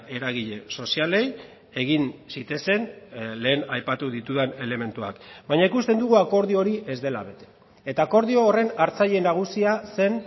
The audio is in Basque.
eragile sozialei egin zitezen lehen aipatu ditudan elementuak baina ikusten dugu akordio hori ez dela bete eta akordio horren hartzaile nagusia zen